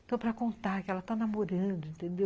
Então, para contar que ela está namorando, entendeu?